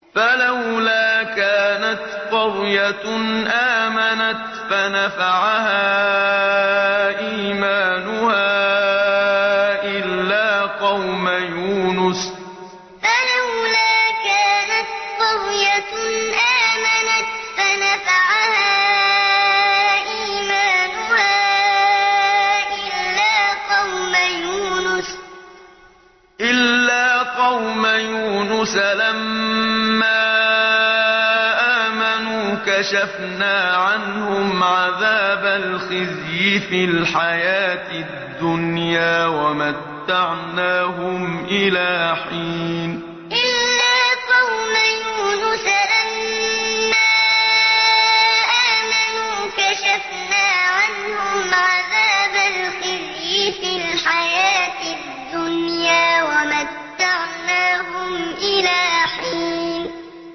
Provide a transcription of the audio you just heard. فَلَوْلَا كَانَتْ قَرْيَةٌ آمَنَتْ فَنَفَعَهَا إِيمَانُهَا إِلَّا قَوْمَ يُونُسَ لَمَّا آمَنُوا كَشَفْنَا عَنْهُمْ عَذَابَ الْخِزْيِ فِي الْحَيَاةِ الدُّنْيَا وَمَتَّعْنَاهُمْ إِلَىٰ حِينٍ فَلَوْلَا كَانَتْ قَرْيَةٌ آمَنَتْ فَنَفَعَهَا إِيمَانُهَا إِلَّا قَوْمَ يُونُسَ لَمَّا آمَنُوا كَشَفْنَا عَنْهُمْ عَذَابَ الْخِزْيِ فِي الْحَيَاةِ الدُّنْيَا وَمَتَّعْنَاهُمْ إِلَىٰ حِينٍ